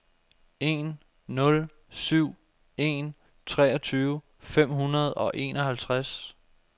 en nul syv en treogtyve fem hundrede og enoghalvtreds